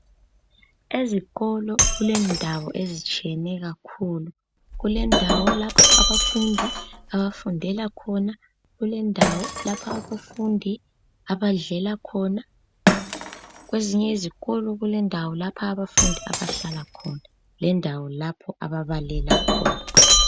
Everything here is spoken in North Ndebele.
ezikolo kulendawo ezitshiyeneyo kakhulu kule ndawo lapha abafundi abafundela khona, kulendawo lapha abadlela khona njalo kwezinye izikolo kule ndawo lapha abahlala khona lendawo lapha ababala khona.